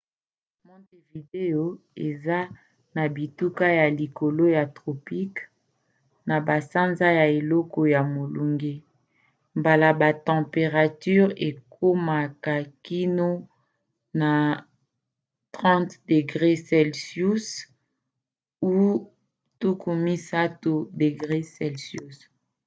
montevideo eza na bituka ya likolo ya tropicale; na basanza ya eleko ya molunge mbala ba temperature ekomaki kino na +30°c